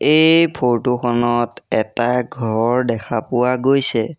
এই ফটো খনত এটা ঘৰ দেখা পোৱা গৈছে।